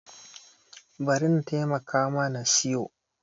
Bari na taimaka ma na siyo.